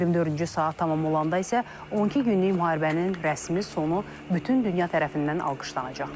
24-cü saat tamam olanda isə 12 günlük müharibənin rəsmi sonu bütün dünya tərəfindən alqışlanacaq.